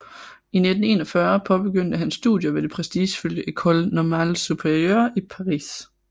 I 1941 påbegyndte han studier ved det prestigefulde École Normale Supérieure i Paris